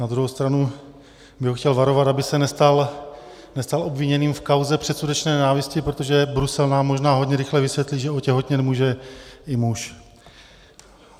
Na druhou stranu bych ho chtěl varovat, aby se nestal obviněným v kauze předsudečné nenávisti, protože Brusel nám možná hodně rychle vysvětlí, že otěhotnět může i muž.